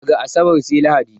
Daga asabar sai lahadi